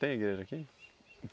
Tem igreja aqui?